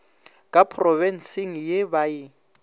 ka phrobenseng ye ba e